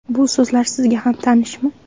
Bu so‘zlar sizga ham tanishmi?